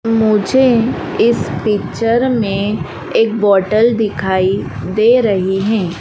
मुझे इस पिक्चर में एक बॉटल दिखाई दे रही हैं।